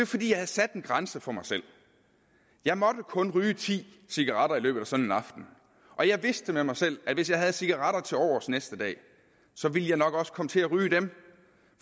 fordi jeg havde sat en grænse for mig selv jeg måtte kun ryge ti cigaretter i løbet af sådan en aften og jeg vidste med mig selv at hvis jeg havde cigaretter til overs næste dag ville jeg nok også komme til at ryge dem